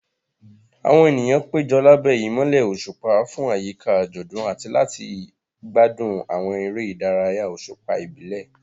Àwọn ènìyàn péjọ lábẹ́ ìmọ́lẹ̀ òṣùpá fún àyíká àjọ̀dún àti láti gbádùn àwọn eré ìdárayá òṣùpá ìbílẹ̀.